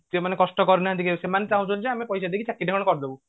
ଯେଉଁମାନେ କଷ୍ଟ କରିନାହାନ୍ତି କେବେ ସେମାନେ ଚହୁଁଛନ୍ତି ଯେ ଆମେ ପଇସା ଦେଇକି ଚାକିରି ଟା ମାନେ କରି ଦବୁ